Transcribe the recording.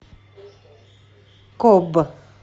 коб